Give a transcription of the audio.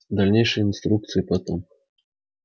дальнейшие инструкции потом